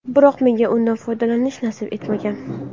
Biroq menga undan foydalanish nasib etmagan.